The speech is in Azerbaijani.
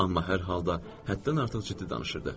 Amma hər halda həddən artıq ciddi danışırdı.